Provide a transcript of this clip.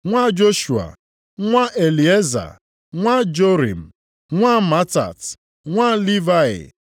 nwa Joshua, nwa Elieza, nwa Jorim, nwa Matat, nwa Livayị;